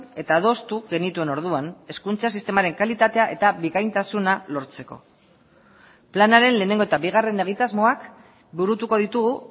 eta adostu genituen orduan hezkuntza sistemaren kalitatea eta bikaintasuna lortzeko planaren lehenengo eta bigarren egitasmoak burutuko ditugu